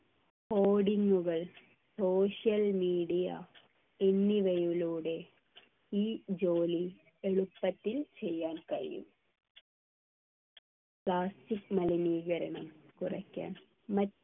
coding ഉകൾ social media എന്നിവയിലൂടെ ഈ ജോലി എളുപ്പത്തിൽ ചെയ്യാൻ കഴിയും plastic മലിനീകരണം കുറയ്ക്കാൻ